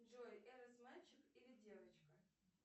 джой эрос мальчик или девочка